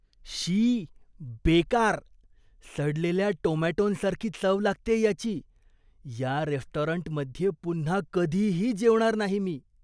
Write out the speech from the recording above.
शी! बेकार! सडलेल्या टोमॅटोंसारखी चव लागतेय याची, या रेस्टॉरंटमध्ये पुन्हा कधीही जेवणार नाही मी.